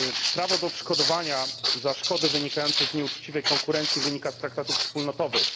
Prawo do odszkodowania za szkody wynikające z nieuczciwej konkurencji wynika z traktatów wspólnotowych.